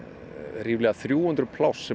ríflega þrjú hundruð pláss sem